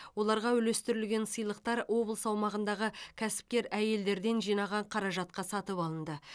оларға үлестірілген сыйлықтар облыс аумағындағы кәсіпкер әйелдерден жинаған қаражатқа сатып алынды